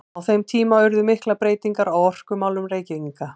Á þeim tíma urðu miklar breytingar á orkumálum Reykvíkinga.